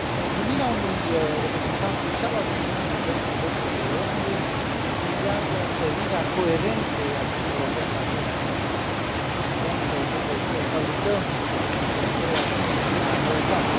Numirea unui reprezentant special al Uniunii pentru drepturile omului vizează întărirea coerenței acțiunii europene în acest domeniu și, evident, trebuie să salutăm o asemenea noutate.